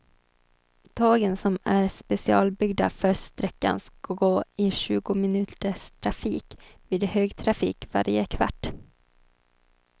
Tågen som är specialbyggda för sträckan ska gå i tjugominuterstrafik, vid högtrafik varje kvart.